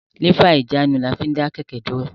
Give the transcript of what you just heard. Lífà ìjánu ní a fín dá kẹ̀kẹ́ dúró